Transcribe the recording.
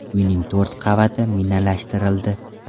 Uyning to‘rt qavati minalashtirildi.